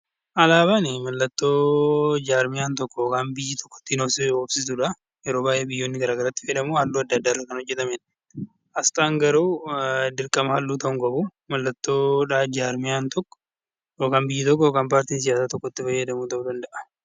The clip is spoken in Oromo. Alaabaan mallattoo jarmiyaan yookaan biyyi tokko yeroo baay'ee biyyoonni ittiin waamamu halluu adda addaan kan faayamedha. Asxaan garuu mallattoo jarmiyaan tokko yookaan biyyi tokko itti fayyadamu ta'uu danda'a.